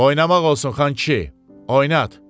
Oynamaq olsun, xankişi, oynat.